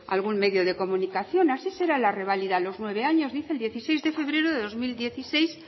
algún medio de comunicación así será la reválida a los nueve años dice el dieciséis de febrero de dos mil dieciséis